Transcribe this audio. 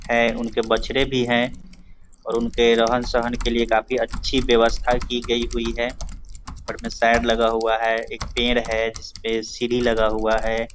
है उनके बछड़े भी हैं और उनके रहन सहन के लिए काफी अच्छी व्यवस्था की गई हुई है ऊपर में शेड लगा हुआ है एक पेड़ है जिसपे सीड़ी लगा हुआ है।